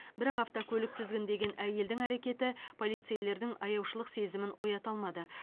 бірақ автокөлік тізгіндеген әйелдің әрекеті полицейлердің аяушылық сезімін оята алмады